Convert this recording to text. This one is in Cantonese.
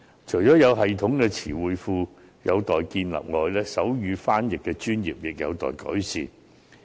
除了有系統的詞彙庫有待建立外，手語傳譯的專業亦有待確立。